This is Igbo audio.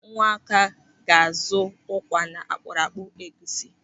Nwaka ga-azụ ụkwa na akpụrụakpu egwusi.